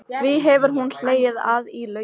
Því hefur hún hlegið að í laumi.